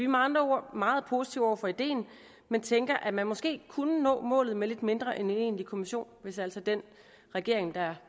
med andre ord meget positive over for ideen men tænker at man måske kunne nå målet med lidt mindre end en egentlig kommission hvis altså den regering der